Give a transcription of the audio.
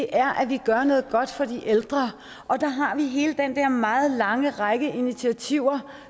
er at vi gør noget godt for de ældre og der har vi hele den der meget lange række af initiativer